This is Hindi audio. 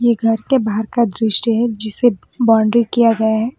ये घर के बाहर का दृश्य है जिससे बाउंड्री किया गया है।